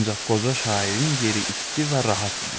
Ancaq qoca şairin yeri isti və rahat idi.